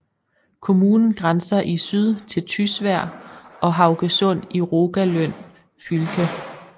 Kommunen grænser i syd til Tysvær og Haugesund i Rogaland fylke